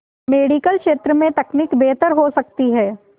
medical क्षेत्र में तकनीक बेहतर हो सकती है